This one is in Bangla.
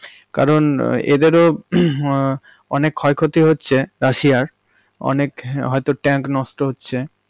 কারণ এদের ও হমম অনেক ক্ষয়ক্ষতি হচ্ছে রাশিয়া এর, অনেক হয়তো tank নষ্ট হচ্ছে।